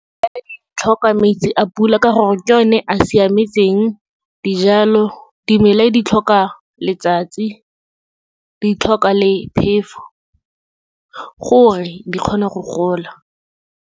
Tlhoka metsi a pula ka gore, ke one a siametseng dijalo. Dimela di tlhoka letsatsi, di tlhoka le phefo, gore di kgone go gola.